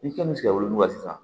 I kan bɛ se ka wolonwula sisan